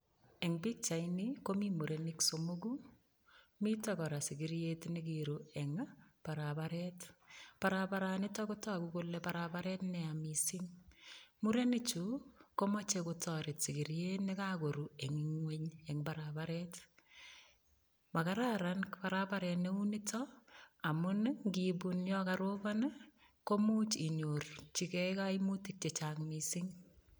Eng' pikchaini komi murenik somoku mito kora sikiriet nekiru eng' barabaret barabaranito kotoku kole barabaret neya mising' mureni chu komochei kotoret sikiriet nekakoru eng' ing'weny eng' barabaret makararan barabaret neu nito amun ngibun yo karobon komuch inyorchigei kaimutik chechang' mising'